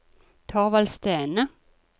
Thorvald Stene